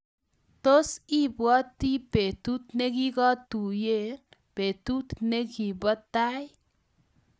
Tos, ibwoti betut negigotuiye betut negibo tai?